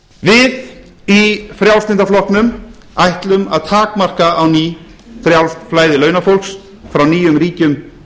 við í frjálslynda flokknum ætlum að takmarka á ný frjálst flæði launafólks frá nýjum ríkjum